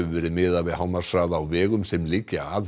verið miðað við hámarkshraða á vegum sem liggja að